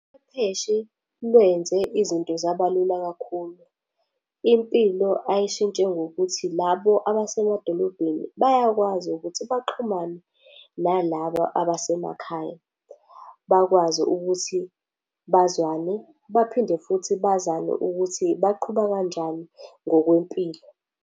lwenze izinto zaba lula kakhulu. Impilo ayishintshe ngokuthi labo abasemadolobheni bayakwazi ukuthi baxhumane nalabo abasemakhaya. Bakwazi ukuthi bazwane, baphinde futhi bazane ukuthi baqhuba kanjani ngokwempilo.